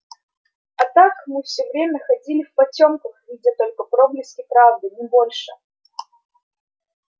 а так мы всё время ходили в потёмках видя только проблески правды не больше